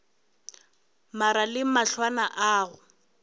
mare le mahlwana a go